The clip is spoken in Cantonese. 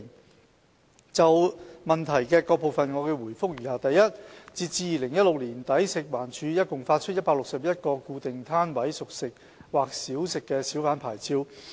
我現就質詢的各部分回覆如下：一截至2016年年底，食環署共發出161個固定攤位小販牌照。